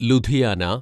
Ludhiana